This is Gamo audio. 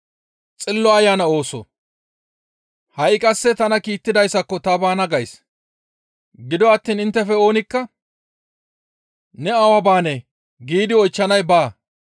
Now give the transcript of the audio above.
«Ha7i qasse tana kiittidayssako ta baana gays; gido attiin inttefe oonikka, ‹Ne awa baanee?› giidi oychchanay baa.